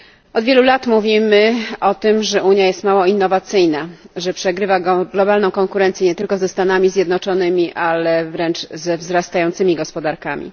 Od wielu lat mówimy o tym, że Unia jest mało innowacyjna, że przegrywa globalną konkurencję nie tylko ze Stanami Zjednoczonymi, ale wręcz ze wzrastającymi gospodarkami.